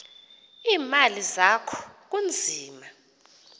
iimali zakho kunzima